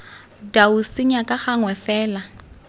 dau senya ka gangwe fela